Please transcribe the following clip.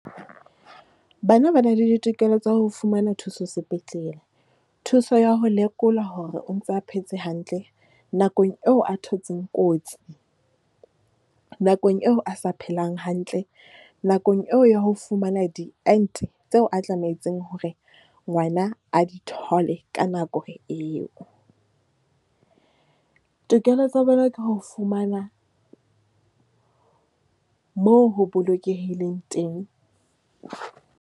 Bana ba na le ditokelo tsa ho fumana thuso sepetlele. Thuso ya ho lekola hore o ntsa phetse hantle nakong eo a thotseng kotsi nakong eo a sa phelang hantle. Nakong eo ya ho fumana di ente tseo a tlametseng hore ngwana a di thole. Ka nako eo, tokelo tsa bona ke ho fumana mo ho bolokehileng teng.